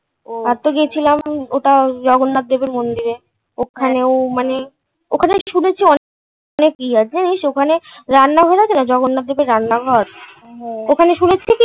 আর তো গেছিলাম ওই জগন্নাথ দেবের মন্দিরে। ওখানেও মানে ওখানে শুনেছি অনেক অনেক কী আছে জানিস ওখানে রান্নাঘর আছে না জগন্নাথ দেবের রান্নাঘর ওখানে শুনেছি কী